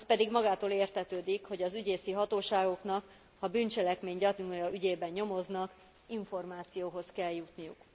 Az pedig magától értetődik, hogy az ügyészi hatóságoknak, ha bűncselekmény gyanúja ügyében nyomoznak, információhoz kell jutniuk.